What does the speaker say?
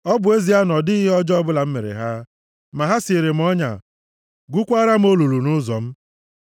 Ọ bụ ezie na ọ dịghị ihe ọjọọ ọbụla m mere ha, ma ha siere m ọnya, gwukwaara m olulu nʼụzọ m.